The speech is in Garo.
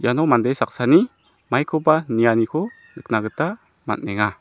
iano mande saksani maikoba nianiko nikna gita man·enga.